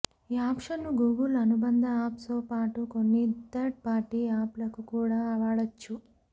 ఈ ఆప్షన్ను గూగుల్ అనుబంధ ఆప్స్తోపాటు కొన్ని థర్డ్ పార్టీ ఆప్లకు కూడా వాడొచ్చు